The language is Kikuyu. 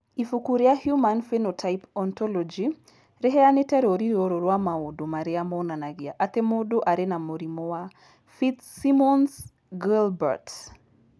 Ibuku rĩa Human Phenotype Ontology rĩheanĩte rũũri rũrũ rwa maũndũ marĩa monanagia atĩ mũndũ arĩ na mũrimũ wa Fitzsimmons Guilbert.